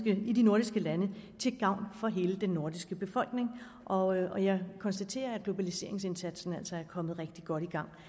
i de nordiske lande til gavn for hele den nordiske befolkning og jeg konstaterer at globaliseringsindsatsen altså er kommet rigtig godt i gang